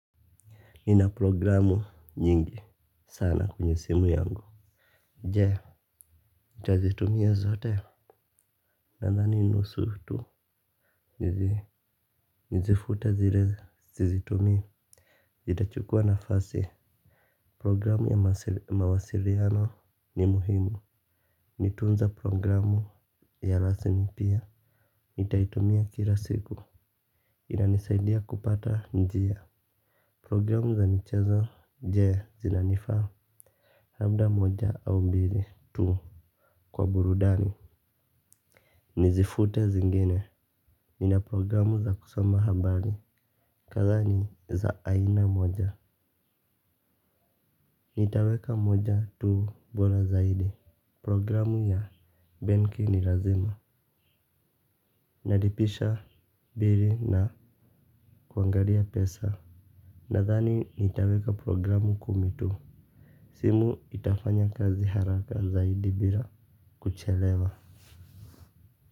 Nina programu nyingi sana kwenye simu yangu. Jee, nitazitumia zote. Nandhani nusufu tu. Nizifute zile sizitumii itachukua nafasi. Programu ya mawasiliano ni muhimu. Nitunza programu ya lasimi pia nitaitumia kila siku. Inanisaidia kupata njia. Programu za michezo je zinanifaa. Labda moja au mbili tu kwa burudani. Nizifute zingine. Nina programu za kusoma habari. Kadhaa ni za aina moja. Nitaweka moja tu bola zaidi. Programu ya benki ni lazima. Nalipisha bili na kuangalia pesa. Nathani nitaweka programu kumi tu. Simu itafanya kazi haraka zaidi bila kuchelewa.